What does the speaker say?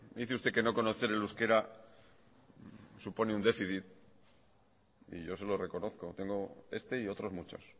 dice usted que no conocer el euskera supone un déficit y yo se lo reconozco tengo este y otros muchos